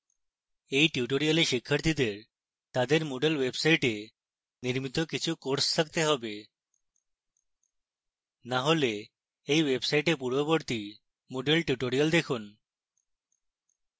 এই tutorial শিক্ষার্থীদের তাদের moodle website নির্মিত কিছু courses থাকতে have